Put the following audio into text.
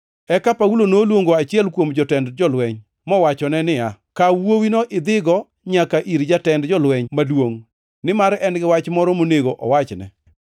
Eka Paulo noluongo achiel kuom jotend jolweny, mowachone niya, “Kaw wuowino idhigo nyaka ir jatend jolweny maduongʼ nimar en-gi wach moro monego owachne.”